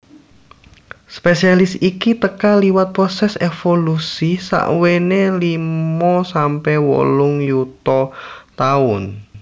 Spesies iki teka liwat prosès évolusi sakwéné limo sampe wolung yuta taun